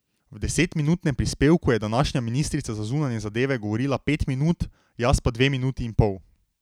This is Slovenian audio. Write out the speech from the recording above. V desetminutnem prispevku je današnja ministrica za zunanje zadeve govorila pet minut, jaz pa dve minuti in pol.